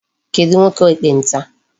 Kedụ nwoke ekpenta?